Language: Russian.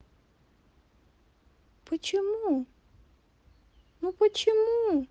почему ну почему